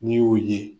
N'i y'u ye